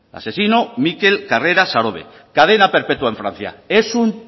asesino mikel karrera sarobe cadena perpetúa en francia es un